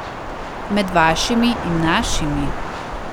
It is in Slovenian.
Med vašimi in našimi.